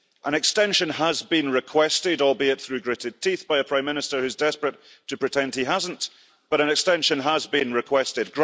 An extension has been requested, albeit through gritted teeth by a Prime Minister who is desperate to pretend he hasn't, but an extension has been requested.